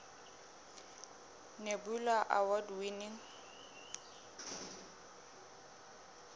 nebula award winning